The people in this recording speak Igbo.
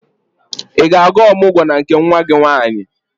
Ị ga-aga ọmụgwọ na nke nwa gị nwaanyị?